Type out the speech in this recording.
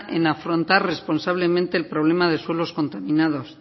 en afrontar responsablemente el problema de suelo contaminados